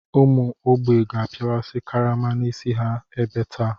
Ụmụ ógbè ga-apịawasị karama n'isi ha ebe taa.